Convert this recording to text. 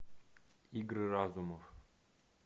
игры разумов